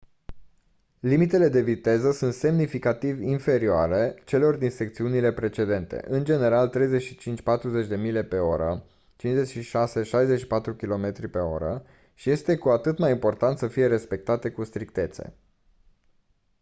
limitele de viteză sunt semnificativ inferioare celor din secțiunile precedente – în general 35-40 mph 56-64 km/h – și este cu atât mai important să fie respectate cu strictețe